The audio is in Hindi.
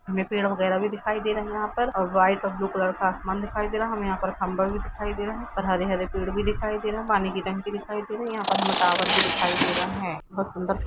हमें पेड़ वगैरह भी दिखायी दे रहा है यहां पर और व्हाइट और ब्लू कलर का आसमान भी दिखायी दे रहा है और हमें यहाँ पर खम्भा भी दिखायी दे रहा है और हरे हरे पेड़ भी दिखायी दे रहे पानी की टंकी भी दिखायी दे रही है। यहां पर टावर भी दिखायी दे रहा है।